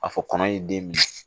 A fɔ kɔnɔ ye den minɛ